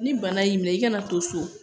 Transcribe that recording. Ni bana y'i minɛ i kana to so